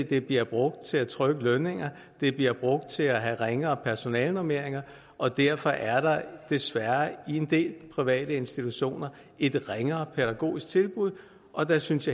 de bliver brugt til at trykke lønninger og de bliver brugt til at have ringere personalenormeringer og derfor er der desværre i en del private institutioner et ringere pædagogisk tilbud og jeg synes